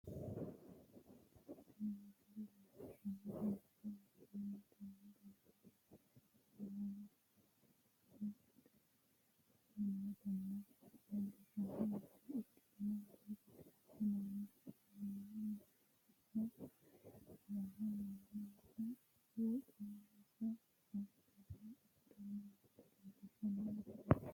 tini misile leellishshannohu mannu mittimmatenni gamba yee maala mudhe beeqqanni noota leellishshanno misile ikkitanna ,togono assi'nannihu ayyaanu hee'ranno yannaraati, mannuno woxensa abbi're adhanni noota leellishshanno misileeti.